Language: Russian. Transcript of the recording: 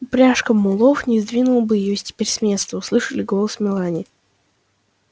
упряжка мулов не сдвинула бы её теперь с места она услышала голос мелани